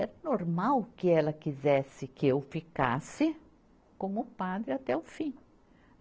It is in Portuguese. É normal que ela quisesse que eu ficasse como padre até o fim.